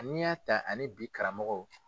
N'i y'a ta ani bi karamɔgɔ